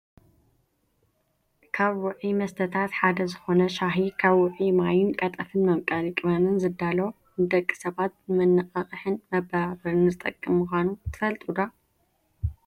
ካብ ውዕይ መስተታት ሓደ ዝኮነ ሻሂ ካብ ውዑይ ማይን ቀጠፍን መምቀሪ ቅመምን ዝዳሎ ንደቂ ሰባት ንመናቃቅሕን መበራበርን ዝጠቅም ምኳኑ ትፈልጡ ዶ?